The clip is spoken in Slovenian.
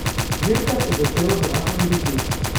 Dirka se je začela v rahlem dežju.